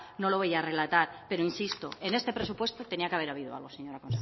no lo voy a relatar pero insisto en este presupuesto tenía que haber habido algo señora